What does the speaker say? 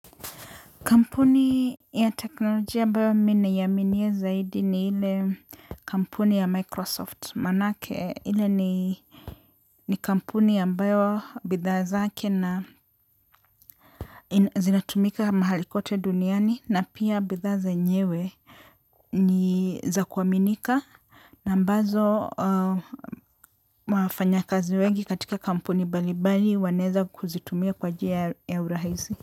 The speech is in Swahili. Kampuni ya teknolojia ambayo mi naiaminia zaidi ni ile kampuni ya Microsoft manake inani ni kampuni ambayo bidhaa zake na zinatumika mahali kote duniani na pia bidhaa zenyewe ni za kuaminika na ambazo wafanyakazi wengi katika kampuni mbalimbali wanaweza kuzitumia kwa njia ya urahisi.